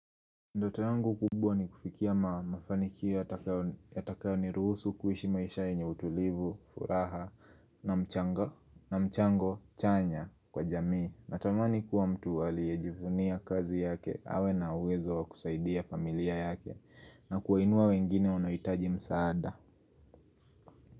Ndoto yangu kubwa ni kufikia mafanikio yatakayo ni ruhusu kuishi maisha yenye utulivu, furaha, na mchango chanya kwa jamii. Natamani kuwa mtu aliyejivunia kazi yake, awe na uwezo wa kusaidia familia yake, na kuwainua wengine wanaohitaji msaada.